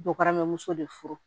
Dɔgɔmuso de furu